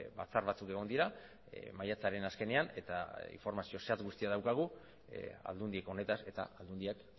batzar batzuk egon dira maiatzaren azkenean eta informazio zehatz daukagu aldundiak honetaz eta aldundiak